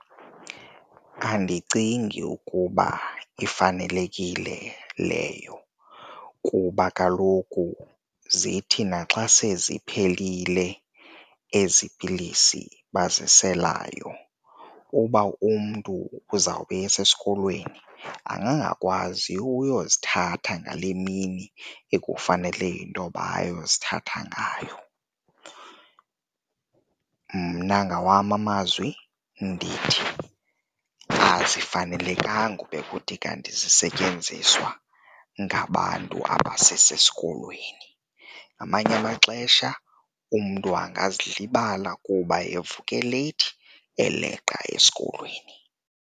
Andicingi ukuba ifanelekile leyo kuba kaloku zithi naxa seziphelile ezi pilisi baziselayo, uba umntu uzawube esesikolweni angangakwazi uyozithatha ngale mini ekufanele intoba ayozithatha ngayo. Mna ngawam amazwi ndithi, azifanelekanga ube kuthi kanti zisetyenziswa ngabantu abasesikolweni, ngamanye amaxesha umntu angazilibala kuba evuke leyithi eleqa esikolweni.